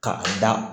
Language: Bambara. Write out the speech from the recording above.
Ka a da